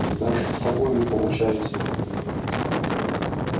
даже с собой не получается